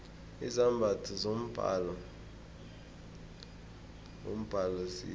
izambatho zombala wombhalo zihle